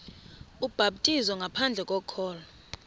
ubhaptizo ngaphandle kokholo